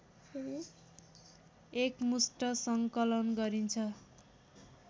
एकमुस्ट सङ्कलन गरिन्छ